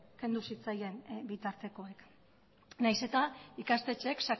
kendu zitzaien bitartekoak nahiz eta ikastetxeek